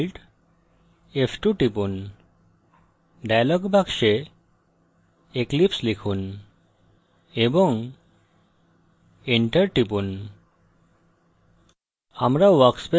alt + f2 টিপুন dialog box eclipse লিখুন এবং enter টিপুন